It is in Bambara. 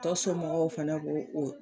Tɔ somɔgɔw fana b'o o